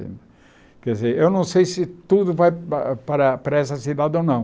Quer dizer, eu não sei se tudo vai para para para essa cidade ou não.